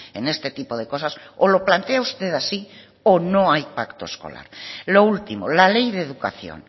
en este tipo de cosas o lo plantea usted así o no hay pacto escolar lo último la ley de educación